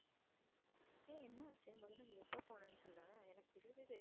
ஏய் என்ன ஆச்சு, முதல்ல நீ எப்போ போனேன்னு சொல்லேன். எனக்கு தெரியவே தெரியாது.